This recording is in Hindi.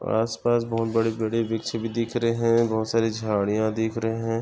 आस पास बहुत बड़े वृक्ष भी दिख रहे है| बहुत सारी झाड़िया दिख रहे है।